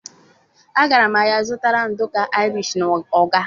agara m ahia zutara nduku Irish na ọka.